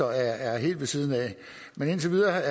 er helt ved siden af men indtil videre